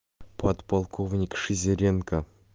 подполковник шестерёнка